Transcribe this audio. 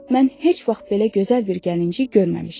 Mən heç vaxt belə gözəl bir gəlinci görməmişdim.